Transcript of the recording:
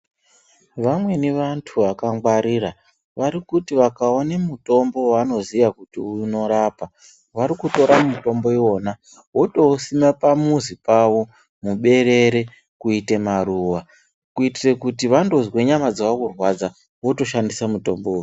Vamweni vantu vakangwarira vari kuti vakaona mutombo waanoziya kuti unorapa vari kutora mutombo iwona votousima pamuzi pawo muberere kuite maruwa kuitire kuti vandozwe nyama dzawo kurwadza votoshandisa mutombo uyu.